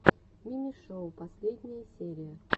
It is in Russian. мими шоу последняя серия